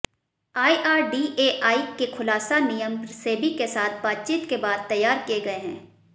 IRDAI के खुलासा नियम सेबी के साथ बातचीत के बाद तैयार किए गए हैं